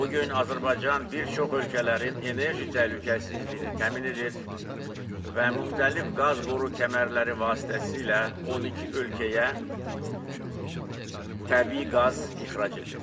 Bu gün Azərbaycan bir çox ölkələrin enerji təhlükəsizliyini təmin edir və müxtəlif qaz boru kəmərləri vasitəsilə 12 ölkəyə təbii qaz ixrac edir.